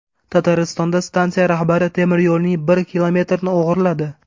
Tataristonda stansiya rahbari temiryo‘lning bir kilometrini o‘g‘irladi.